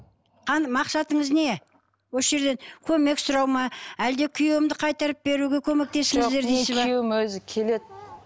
мақсатыңыз не осы жерде көмек сұрау ма әлде күйеуімді қайтарып беруге көмектесіңіздер жоқ күйеуім өзі келеді